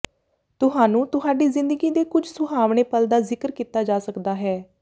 ਤੁਹਾਨੂੰ ਤੁਹਾਡੀ ਜ਼ਿੰਦਗੀ ਦੇ ਕੁਝ ਸੁਹਾਵਣੇ ਪਲ ਦਾ ਜ਼ਿਕਰ ਕੀਤਾ ਜਾ ਸਕਦਾ ਹੈ